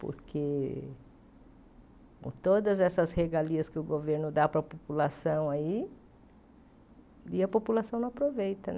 Porque com todas essas regalias que o governo dá para a população aí, e a população não aproveita.